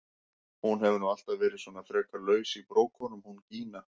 Hún hefur nú alltaf verið svona frekar laus í brókunum hún Gína!